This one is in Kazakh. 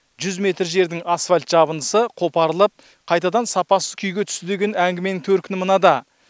жүз метр жердің асфальт жабындысы қопарылып қайтадан сапасыз күйге түсті деген әңгіменің төркіні мынада